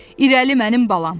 İrəli, mənim balam!